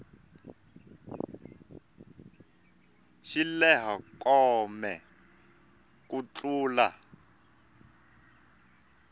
xi lehe kome ku tlula